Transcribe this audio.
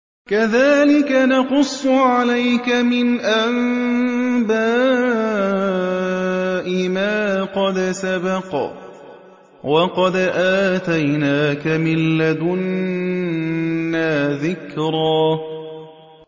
كَذَٰلِكَ نَقُصُّ عَلَيْكَ مِنْ أَنبَاءِ مَا قَدْ سَبَقَ ۚ وَقَدْ آتَيْنَاكَ مِن لَّدُنَّا ذِكْرًا